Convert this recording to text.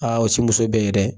Aa ti muso bɛɛ ye dɛ!